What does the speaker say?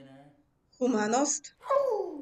Humanost?